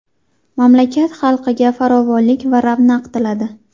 Mamlakat xalqiga farovonlik va ravnaq tiladi.